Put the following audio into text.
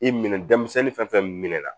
I minɛ denmisɛnnin fɛn fɛn min na